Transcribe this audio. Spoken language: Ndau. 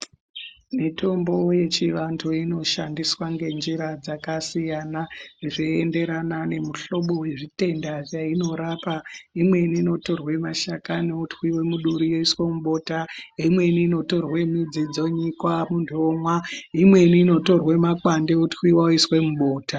Mitombo yechivantu inoshandiswa ngenjira dzakasiyana zveienderana nemuhlobo wezvitenda zveinorapa imweni inotorwa mashakani otwiwe muduri oiswe mubota imweni inotorwe midzi dzonyikwa muntu omwa imweni inotorwe makwande otwiwa oiswe mubota